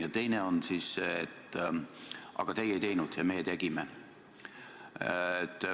Ja teine on see, et aga teie ei teinud ja meie tegime.